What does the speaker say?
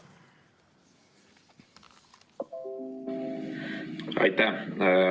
Aitäh!